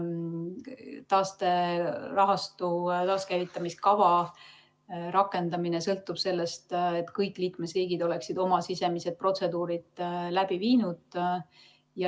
Taasterahastu käivitamise kava rakendamine sõltub sellest, et kõik liikmesriigid oleksid oma sisemised protseduurid läbi viinud.